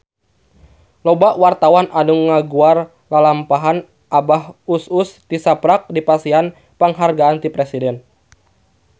Loba wartawan anu ngaguar lalampahan Abah Us Us tisaprak dipasihan panghargaan ti Presiden